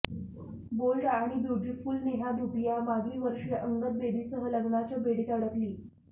bold आणि beautiful Neha Dhupia मागील वर्षी अंगद बेदीसह लग्नाच्या बेडीत अडकली